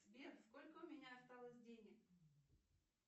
сбер сколько у меня осталось денег